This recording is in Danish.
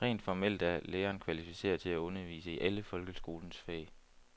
Rent formelt er læreren kvalificeret til at undervise i alle folkeskolens fag.